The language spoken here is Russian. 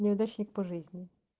неудачник по жизни